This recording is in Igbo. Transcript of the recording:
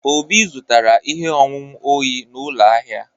Obi zụtara ihe ọṅụṅụ oyi na ụlọ ahịa.